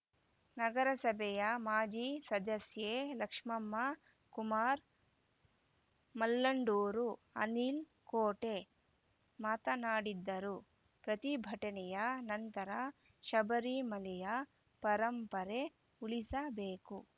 ನಗರಸಭೆಯ ಮಾಜಿ ಸದಸ್ಯೆ ಲಕ್ಷ್ಮಮ್ಮ ಕುಮಾರ್‌ ಮಲ್ಲಂದೂರು ಅನಿಲ್‌ ಕೋಟೆ ಮಾತನಾಡಿದ್ದರು ಪ್ರತಿಭಟನೆಯ ನಂತರ ಶಬರಿಮಲೆಯ ಪರಂಪರೆ ಉಳಿಸಬೇಕು